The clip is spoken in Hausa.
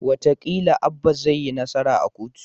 Wataƙila Abba zai yi nasara a kotu